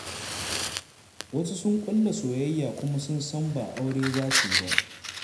Wasu suna ƙulla soyayya, kuma sun san ba aure za su yi ba.